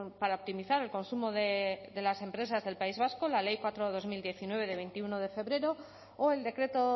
para optimizar el consumo de las empresas del país vasco la ley cuatro barra dos mil diecinueve de veintiuno de febrero o el decreto